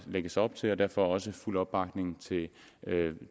lægges op til derfor også fuld opbakning til